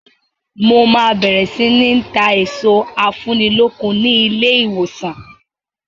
Mo máa bẹ̀rẹ̀ sini ta èso afúnilókun ni ilé ìwòsàn.